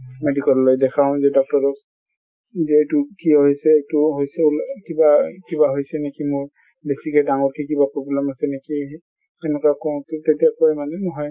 medical লৈ দেখাও যে doctor ক যে এইটো কিয় হৈছে এইটো হৈছে কিবা কিবা হৈছে নেকি মোৰ। বেছিকে ডাঙৰকে কিবা problem আছে নেকি তেনেকুৱা কওঁতে তেতিয়া কয় মানে নহয়